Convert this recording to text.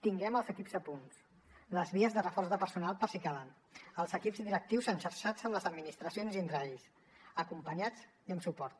tinguem els equips a punt les vies de reforç de personal per si calen els equips directius enxarxats amb les administracions i entre ells acompanyats i amb suport